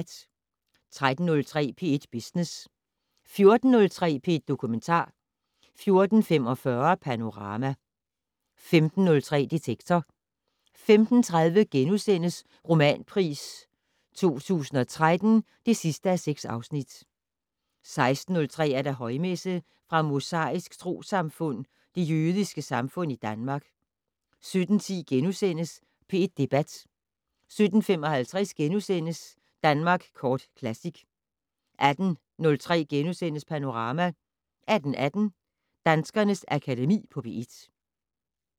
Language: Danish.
13:03: P1 Business 14:03: P1 Dokumentar 14:45: Panorama 15:03: Detektor 15:30: Romanpris 2013 (6:6)* 16:03: Højmesse - Fra Mosaisk Troessamfund, Det Jødiske Samfund i Danmark. 17:10: P1 Debat * 17:55: Danmark Kort Classic * 18:03: Panorama * 18:18: Danskernes Akademi på P1